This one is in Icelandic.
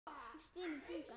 Stynur þungan.